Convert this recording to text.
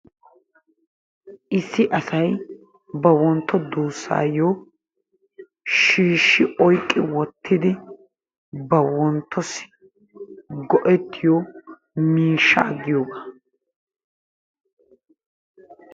Issi asay ba wontto duusaayo shiishi oyqqi wottidi ba wontossi go'etiyo miishshaa giyoogaa,